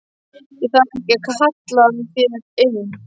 Það þarf ekki að kalla hér inni.